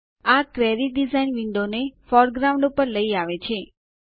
આ query design વિન્ડોને foreground ઉપર લઇ આવે છે